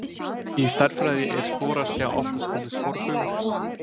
Í stærðfræði er sporaskja oftast kölluð sporbaugur.